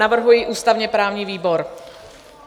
Navrhuji ústavně-právní výbor.